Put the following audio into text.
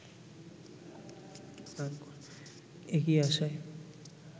এগিয়ে আসায়